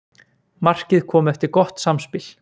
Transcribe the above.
Markið kom eftir gott samspil.